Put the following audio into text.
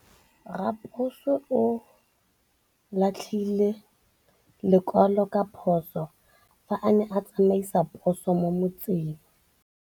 Raposo o latlhie lekwalô ka phosô fa a ne a tsamaisa poso mo motseng.